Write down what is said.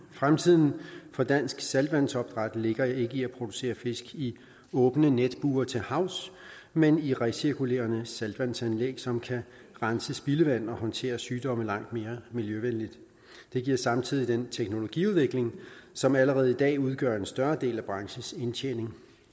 fremtiden for dansk saltvandsopdræt ligger ikke i at producere fisk i åbne netbure til havs men i recirkulerede saltvandsanlæg som kan rense sit spildevand og håndtere sygdomme langt mere miljøvenligt det giver samtidigt den teknologiudvikling som allerede idag udgør en større del af branchens indtjening